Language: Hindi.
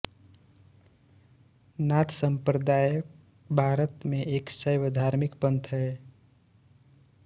नाथ सम्प्रदाय भारत में एक शैव धार्मिक पंथ है